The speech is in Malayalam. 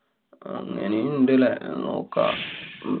അങ്ങനേം ഇണ്ട് ല്ലേ? നോക്കാം. ഹും